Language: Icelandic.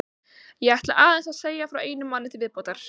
Ég ætla aðeins að segja frá einum manni til viðbótar.